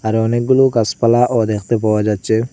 আরও অনেকগুলো গাসপালাও দেখতে পাওয়া যাচ্চে ।